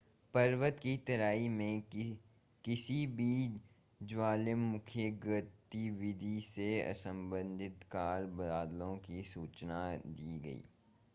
पर्वत की तराई में किसी भी ज्वालामुखीय गतिविधि से असंबंधित काले बादलों की सूचना दी गई